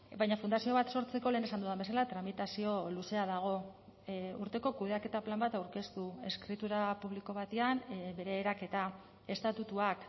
baina fundazio bat sortzeko lehen esan dudan bezala tramitazio luzea dago urteko kudeaketa plan bat aurkeztu eskritura publiko batean bere eraketa estatutuak